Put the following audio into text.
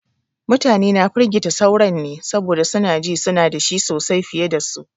Mutane na firgita sauran ne saboda su na ji su na da shi sosai fiye da su.